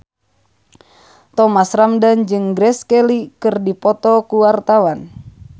Thomas Ramdhan jeung Grace Kelly keur dipoto ku wartawan